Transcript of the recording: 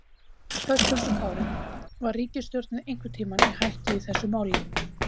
Höskuldur Kári: Var ríkisstjórnin einhvern tímann í hættu í þessu máli?